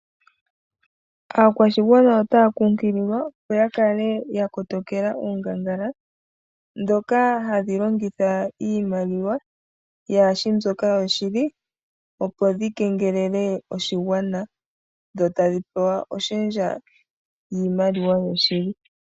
Aakwashigwana otaya kunkililwa opp yakale ya kotokela oongangala ndhoka hadhi longitha iimaliwa kayishi mbyoka yoshili opo dhi kengelele oshigwana dho tadhi pewa oshendja niimaliwa yoshili.